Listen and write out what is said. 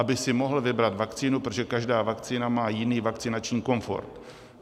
Aby si mohl vybrat vakcínu, protože každá vakcína má jiný vakcinační komfort.